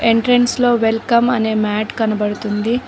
Entrance లో welcome అనే mat కనబడుతుంది.